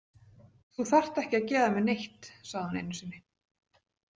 Þú þarft ekki að gefa mér neitt, sagði hún einu sinni.